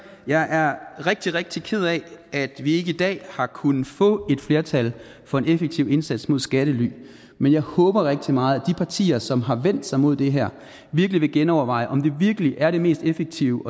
jeg er rigtig rigtig ked af at vi ikke i dag har kunnet få et flertal for en effektiv indsats mod skattely men jeg håber rigtig meget at de partier som har vendt sig mod det her vil genoverveje om det virkelig er det mest effektive